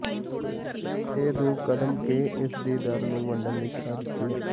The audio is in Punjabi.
ਇਹ ਦੋ ਕਦਮ ਕੇ ਇਸ ਦੀ ਦਰ ਨੂੰ ਵੰਡਣ ਲਈ ਸਲਾਹ ਦਿੱਤੀ ਹੈ